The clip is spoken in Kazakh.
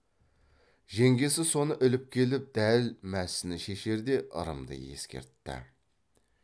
жеңгесі соны іліп келіп дәл мәсіні шешерде ырымды ескертті